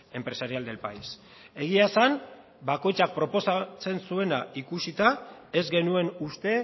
empresarial del país egia esan bakoitzak proposatzen zuena ikusita ez genuen uste